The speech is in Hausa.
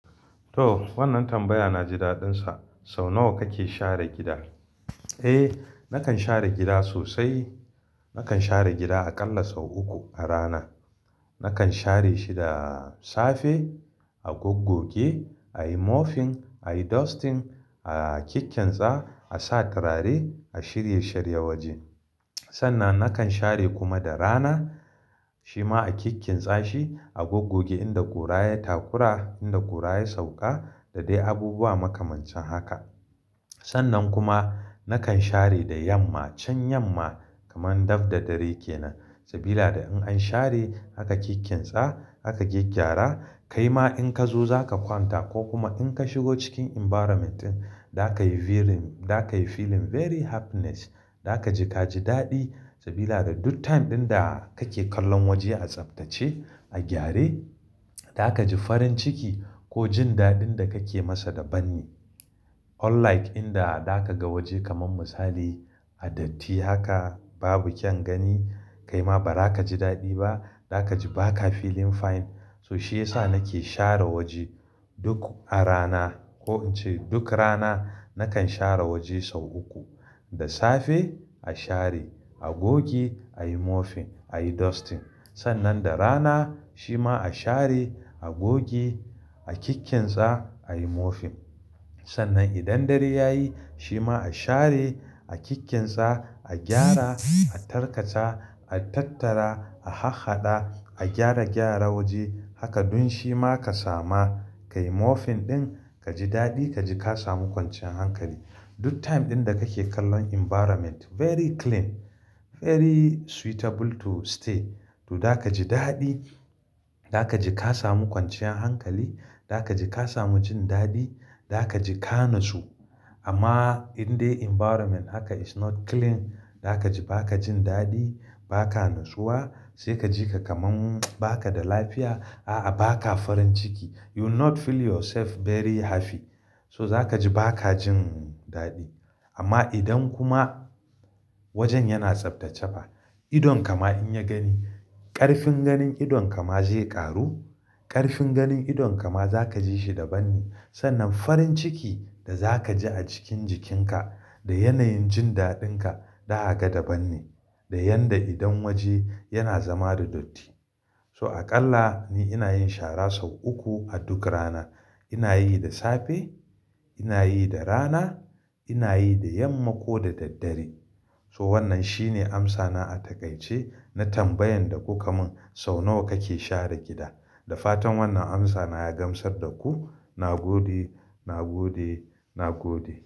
To wannan tambaya na ji daɗin sa. Sau nawa kake share gida? Eh, nakan share gida sosai. Nakan share gida aƙalla sau uku a rana. Nakan share shi da safe, a goggogi, a yi mopping, a yi dusting, a kikkinitsa, a sa turare, a shirye shirye waje. Sannan nakan share kuma da rana, shi ma a kikkinitsa shi, a goggogi inda ƙura ya takura, inda ƙura ya sauƙa da dai abubuwa makamancin haka. Sannan kuma nakan share da yamma. Can yamma kaman dab da dare kenan, saboda in an share, aka kikkinitsa, aka gyaggyara, kaima in ka zo za ka kwanta ko kuma in ka shigo cikin environment ɗin, za ka yi feeling very happiness. Za ka ji ka ji daɗi saboda duk time ɗin da kake kallon waje a tsaftace, a gyare, za ka ji farin ciki ko jin daɗin da kake masa da ban. Unlike inda za ka ga waje kaman misali a datti haka babu kyan gani, kaima ba za ka ji daɗi ba. Za ka ji ba ka feeling fine. So shi ya sa nake share waje duk a rana ko ince duk rana nakan share waje sau uku. Da safe a share, a gogi a yi mopping, a yi dusting. Sannan da rana shi ma a share, a gogi, a kikkinitsa, a yi mopping. Sannan idan dare ya yi, shi ma a share, a kikkinitsa, a gyara, a tarkata, a tattara, a hahada, a gyara gyara waje. Haka duk shi ma ka samu, ka yi mopping ɗin, ka ji daɗi, ka ji ka samu kwanciyar hankali. Duk time ɗin da kake kallon environment very clean, very suitable to stay. To za ka ji daɗi. Za ka ji ka samu kwanciyar hankali. Za ka ji ka samu jin daɗi. Za ka ji ka nutsu. Amma in dai environment haka is not clean, za ka ji ba ka jin daɗi, ba ka natsuwa, sai ka ji ka kaman ba ka da lafiya. A a ba ka farin ciki. You will not feel yourself very happy. So za ka ji ba ka jin daɗi. Amma idan kuma wajen yana tsaftacefa, idonka ma in ya gani, ƙarfin ganin idonka ma zai ƙaru. Ƙarfin ganin idonka ma za ka ji shi daban ne. Sannan farin ciki da za ka ji a cikin jikinka da yanayin jin daɗinka, daga daban ne da yadda idan waje yana zama da datti. So aƙalla ni ina yin shara sau uku a duk rana. Ina yi da safe, ina yi da rana, ina yi da yamma ko da daddare. So wannan shine amsa na a takaice na tambayan da ku kaman sau nawa kake share gida. Da fatan wannan amsa na ya gamsar da ku. Na gode. Na gode. Na gode.